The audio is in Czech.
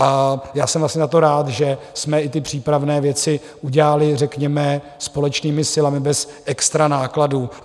A já jsem vlastně za to rád, že jsme i ty přípravné věci udělali řekněme společnými silami bez extra nákladů.